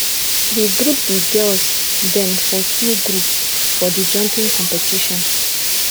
we group di girls dem for two group for di jumping competition